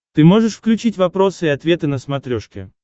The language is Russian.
ты можешь включить вопросы и ответы на смотрешке